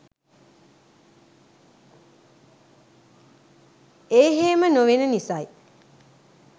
ඒහෙම නොවෙන නිසයි